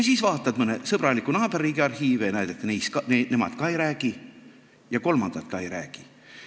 Siis vaatad mõne sõbraliku naaberriigi arhiive ja näed, et nemad ka ei räägi ja kolmandad ka ei räägi.